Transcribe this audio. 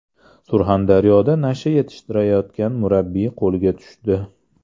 Surxondaryoda nasha yetishtirayotgan murabbiy qo‘lga tushdi.